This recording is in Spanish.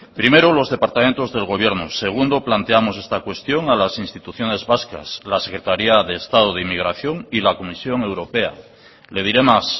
primero los departamentos del gobierno segundo planteamos esta cuestión a las instituciones vascas la secretaría de estado de inmigración y la comisión europea le diré más